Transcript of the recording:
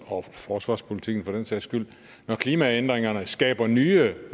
og forsvarspolitisk for den sags skyld når klimaændringerne skaber nye